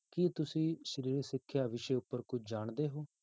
ਕੀ ਤੁਸੀਂ ਸਰੀਰਕ ਸਿੱਖਿਆ ਵਿਸ਼ੇ ਉੱਪਰ ਕੁੱਝ ਜਾਣਦੇ ਹੋ?